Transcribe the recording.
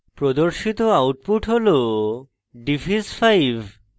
প্রদর্শিত output হল diff is 5